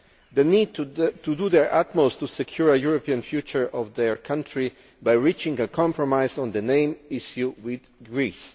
They need to do their utmost to secure a European future for their country by reaching a compromise on the name issue with Greece.